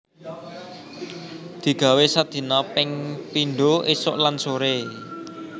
Digawé sadina ping pindho esuk lan sore